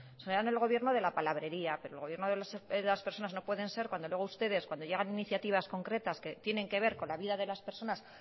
serán el gobierno de la palabrería pero el gobierno de las personas no pueden ser cuando luego ustedes cuando llegan iniciativas concretas que tienen que ver con la vida de las personas